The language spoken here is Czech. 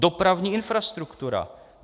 Dopravní infrastruktura!